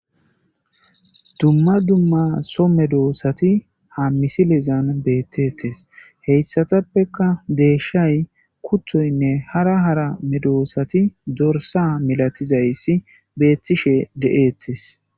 dumma dumma so medoosati ham misilezan beettettes heyssatappeka deeshshay kuthoynne hara hara medoosati dorsa milatizayssi beethtishe de7ettes